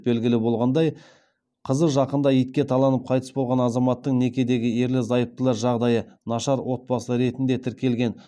белгілі болғандай қызы жақында итке таланып қайтыс болған азаматтың некедегі ерлі зайыптылар жағдайы нашар отбасы ретінде тіркелген